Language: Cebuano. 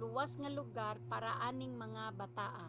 luwas nga lugar para aning mga bataa